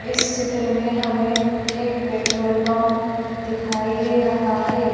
इस चित्र में हमें एक पेट्रोल पंप दिखाई दे रहा है।